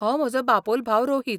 हो म्हजो बापोल भाव रोहित.